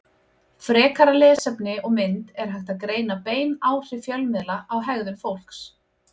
Frekara lesefni og mynd Er hægt að greina bein áhrif fjölmiðla á hegðun fólks?